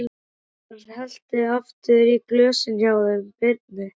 Óskar hellti aftur í glösin hjá þeim Birni.